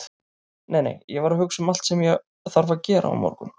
Nei, nei, ég var að hugsa um allt sem ég þarf að gera á morgun.